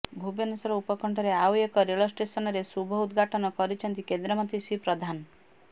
ଭୁବନେଶ୍ୱର ଉପକଣ୍ଠରେ ଆଉ ଏକ ରେଳ ଷ୍ଟେସନର ଶୁଭ ଉଦଘାଟନ କରିଛନ୍ତି କେନ୍ଦ୍ରମନ୍ତ୍ରୀ ଶ୍ରୀ ପ୍ରଧାନ